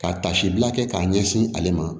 Ka tasi bila kɛ k'a ɲɛsin ale ma